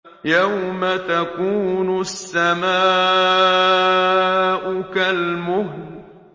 يَوْمَ تَكُونُ السَّمَاءُ كَالْمُهْلِ